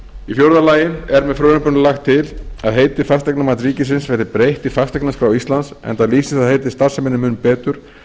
í fjórða lagi er með frumvarpinu lagt til að heiti fasteignamats ríkisins verði breytt í fasteignaskrá íslands enda lýsir það heiti starfseminni mun betur